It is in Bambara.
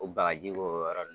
O bagaji kɛ o yɔrɔ la.